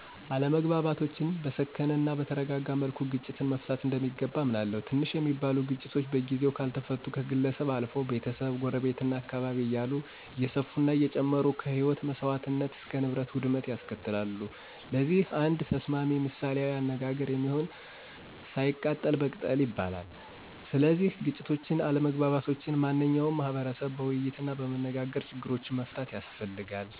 አለመግባባቶችን በሰከነ እናበተረጋጋ መልኩ ግጭትን መፍታት እንደሚገባ አምናለሁ። ትንሽ ሚባሉ ግጭቶች በጊዜው ካልተፈቱ ከግለሰብ አልፈው፣ ቤተሰብ፣ ጎረቤት፣ እና አካባቢ እያለ እየሰፈና እየጨመረ ከህይወት መሰዋትነት እስከ ንብረት ውድመት ያስከትላል። ለዚህ አንድ ተስማሚ ምሳሌአዊ አነጋገር የሚሆን፦ ሳይቀጠል በቅጠል ይላል። ስለዚህ ግጭቶችን፣ አለመግባባቶችን ማንኛው ማህቀረሰብ በወይይትናበመነጋገር ችግሮችን መፍታት ያስፈልጋል።